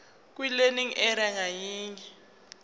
kwilearning area ngayinye